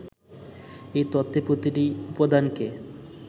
এই তত্ত্বে প্রতিটি উপাদানকে